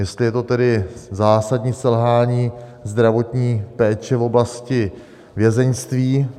Jestli je to tedy zásadní selhání zdravotní péče v oblasti vězeňství?